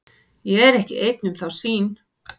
Ég er ekki einn um þá sýn.